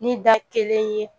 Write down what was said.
Ni da kelen ye